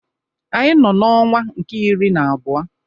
Anyị nọ n'ọnwa nke iri na abụọ.